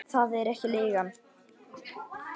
Það er ekki leigan.